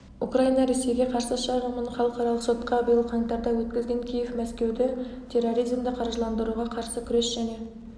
украина ресейге қарсы шағымын халықаралық сотқа биыл қаңтарда өткізген киев мәскеуді терроризмді қаржыландыруға қарсы күрес және